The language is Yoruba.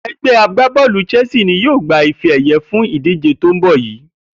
E̩gbé̩ agbábó̩ò̩lù Chelsea ni yóò gba ife è̩ye̩ fún ìdíje tó ń bò̩ yìí